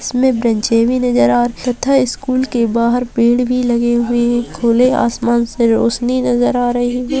इस में बेंचे भी नजर आ रहे हैं तथा स्कूल के बाहर पेड़ भी लगे हुए हैं | खुले आसमान से रौशनी नजर आ रही है |